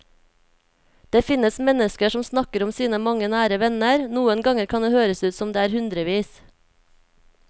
Det finnes mennesker som snakker om sine mange nære venner, noen ganger kan det høres ut som om det er hundrevis.